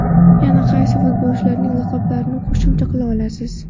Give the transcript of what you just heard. Yana qaysi futbolchilarning laqablarini qo‘shimcha qila olasiz?